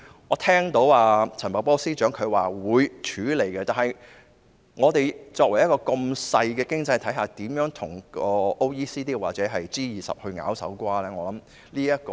我聽到陳茂波司長說會處理這個問題，但香港這個如此細小的經濟體系，怎樣與 OECD 或 G20 角力呢？